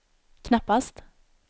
knappast